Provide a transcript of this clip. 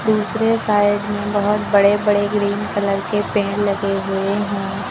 दूसरे साइड में बहोत बड़े बड़े ग्रीन कलर के पेड़ लगे हुए हैं।